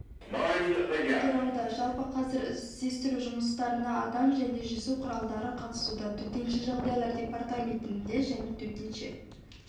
тудырауда жалпы қазір іздестіру жұмыстарына адам және жүзу құралдары қатысуда төтенше жағдайлар депаратменті және төтенше